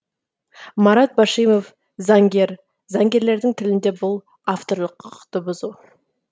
марат башимов заңгер заңгерлердің тілінде бұл авторлық құқықты бұзу